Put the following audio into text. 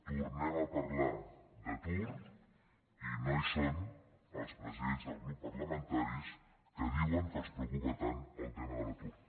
tornem a parlar d’atur i no hi són els presidents dels grups parlamentaris que diuen que els preocupa tant el tema de l’atur